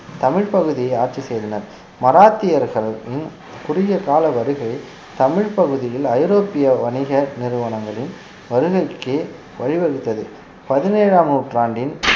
தமிழ்ப் பகுதியை ஆட்சி செய்தனர் மராத்திய அரசர்களும் குறுகிய கால வருகை தமிழ்ப் பகுதியில் ஐரோப்பிய வணிக நிறுவனங்களின் வருகைக்கு வழிவகுத்தது பதினேழாம் நூற்றாண்டின்